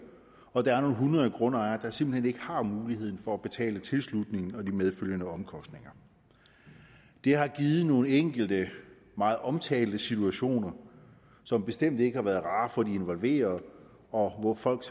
og der er nogle hundrede grundejere der simpelt hen ikke har mulighed for at betale for tilslutningen og de medfølgende omkostninger det har givet nogle enkelte meget omtalte situationer som bestemt ikke har været rare for de involverede og folk